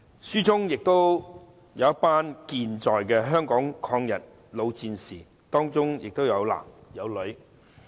書中記述的還有一群健在的香港抗日老戰士，當中有男亦有女。